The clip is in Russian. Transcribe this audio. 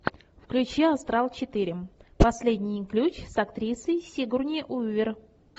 включи астрал четыре последний ключ с актрисой сигурни уивер